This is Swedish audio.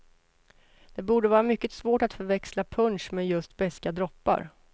Det borde vara mycket svårt att förväxla punsch med just beska droppar.